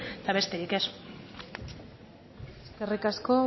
eta besterik ez eskerrik asko